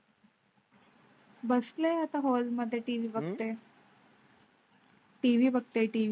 बसले आता हॉल मध्ये टीव्ही बघते. टीव्ही बघ ते टीव्ही.